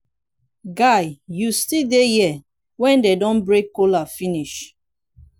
guy you still dey here wen dey don break kola finish.